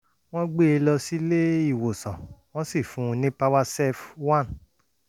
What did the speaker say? wọ́n gbé e lọ sílé-ìwòsàn wọ́n sì fún un ní powercef one